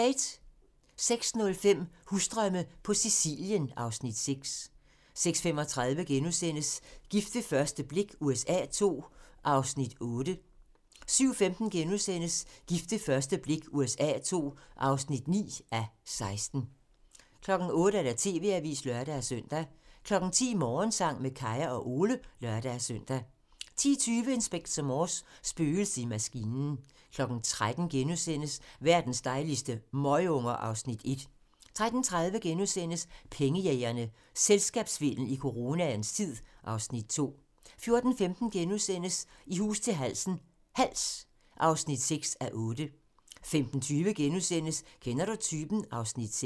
06:05: Husdrømme på Sicilien (Afs. 6) 06:35: Gift ved første blik USA II (8:16)* 07:15: Gift ved første blik USA II (9:16)* 08:00: TV-avisen (lør-søn) 10:00: Morgensang med Kaya og Ole (lør-søn) 10:20: Inspector Morse: Spøgelset i maskinen 13:00: Verdens dejligste møgunger (Afs. 1)* 13:30: Pengejægerne - Selskabssvindel i coronaens tid (Afs. 2)* 14:15: I hus til halsen - Hals (6:8)* 15:20: Kender du typen? (Afs. 6)*